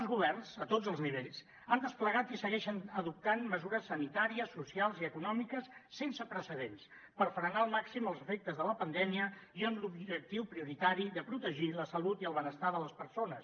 els governs a tots els nivells han desplegat i segueixen adoptant mesures sanitàries socials i econòmiques sense precedents per frenar al màxim els efectes de la pandèmia i amb l’objectiu prioritari de protegir la salut i el benestar de les persones